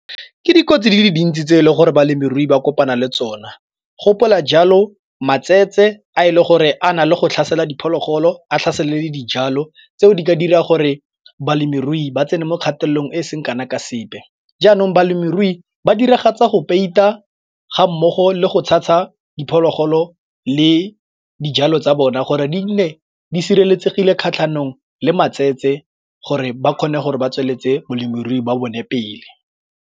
Ke dikotsi di le dintsi tse e le gore balemirui ba kopana le tsona. Gopola jalo matsele a e le gore a na le go tlhaselwa diphologolo a tlhaselo le dijalo tseo di ka dira gore balemirui ba tsene mo kgatelelong e seng kana ka sepe. Jaanong balemirui ba diragatsa go peita ga mmogo le go tshasa diphologolo le dijalo tsa bona gore di nne di sireletsegile kgatlhanong le matsele gore ba kgone gore ba tsweletse molemirui ba bone pele.